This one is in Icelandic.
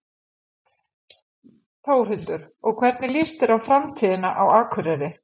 Þórhildur: Og hvernig líst þér á framtíðina á Akureyri?